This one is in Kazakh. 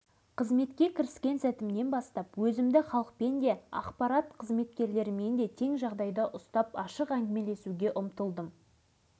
енді міне бір кезде жалындап тұрған жастық шағымда жұмыс таба алмай кеткен жерім арал ауданына әкім болып келдім